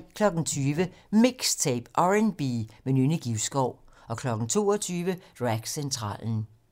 20:00: MIXTAPE - R&B med Nynne Givskov 22:00: Dragcentralen